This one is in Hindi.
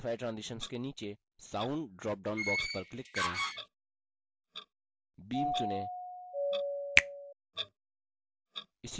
modify transitions के नीचे speed dropdown box पर click करें beam चुनें